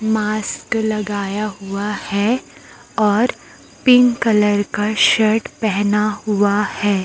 Mask लगाया हुआ है और पिकं कलर का शर्ट पहना हुआ है।